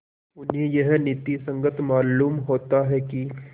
उन्हें यह नीति संगत मालूम होता है कि